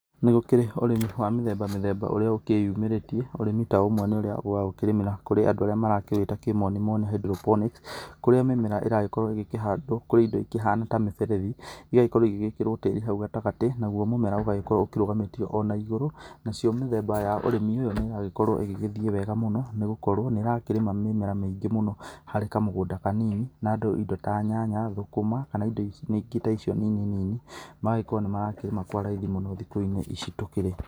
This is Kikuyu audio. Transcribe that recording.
Nĩ gũkĩrĩ ũrĩmi wa mĩthemba mĩthemba ũrĩa ũgĩkĩyumĩrĩtie, ũrĩmi ta ũmwe nĩ ũrĩa wa gũkĩrĩmĩra kũrĩa andũa arĩa marakĩwĩta kĩmoni moni hydropnic. Kũria mĩmera ĩragĩkorwo ĩgĩkĩhandwo kũrĩ indo ĩkĩhana ta mĩberethi, igagĩkorwo igĩgĩkĩrwo tĩri hau gatagatĩ, naguo mũmera ũgagĩkorwo ũkĩrũgamĩtio ona igũrũ. Nacio mĩthemba ya ũrĩmi ũyũ nĩ ĩragĩkorwo ĩgĩgĩthiĩ wega mũno nĩ gũkorwo nĩ ĩrakĩrĩma mĩmera mĩingĩ mũno harĩ kamũgũnda kanini. Na andũ indo ta nyanya, thũkũma kana indo ingĩ ta icio nini nini, magagĩkorwo nĩ marakĩrĩma kwa raithi mũno thikũ-inĩ ici tũkĩrĩ.